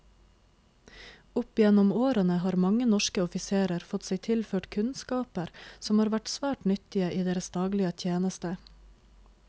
Opp gjennom årene har mange norske offiserer fått seg tilført kunnskaper som har vært svært nyttige i deres daglige tjeneste.